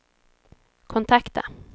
kontakta